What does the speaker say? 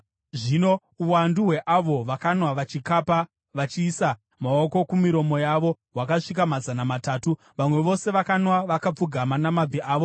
Zvino uwandu hweavo vakanwa vachikapa, vachiisa maoko kumiromo yavo, hwakasvika mazana matatu. Vamwe vose vakanwa vakapfugama namabvi avo.